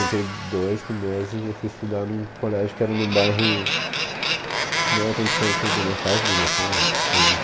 Em oitenta e dois, com doze, eu fui estudar num colégio que era num bairro que não era tão distante da minha casa, devia ser uns três